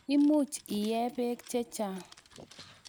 Imuch iee peek che chang'.